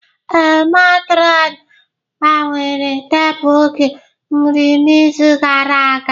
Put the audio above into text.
Ee, matron gbanwere tebụl oge nri n'izu gara aga